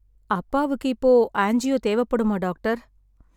அப்பாவுக்கு இப்போ ஆஞ்சியோ தேவைப்படுமா டாக்டர்?